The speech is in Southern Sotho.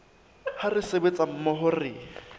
ha re sebetsa mmoho re